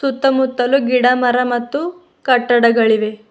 ಸುತ್ತ ಮುತ್ತಲು ಗಿಡ ಮರ ಕಟ್ಟಡಗಳಿವೆ.